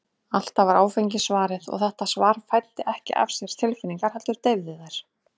Alltaf var áfengi svarið, og þetta svar fæddi ekki af sér tilfinningar, heldur deyfði þær.